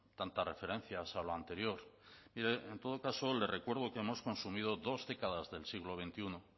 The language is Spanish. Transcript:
tantas referencias a lo anterior y en todo caso le recuerdo que hemos consumido dos décadas del siglo veintiuno